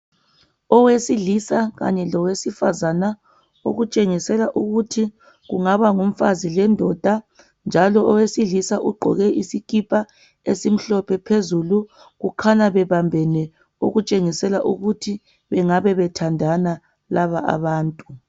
Owesilisa kanye lowesifazana okutshengisela ukuthi kungaba ngumfazi lendoda. Njalo owesilisa ugqoke isikipa esimhlophe phezulu. Kukhanya bebambene, okutshengisela ukuthi bengabe bethandana laba abantu.